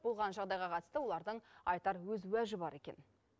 болған жағдайға қатысты олардың айтар өз уәжі бар екен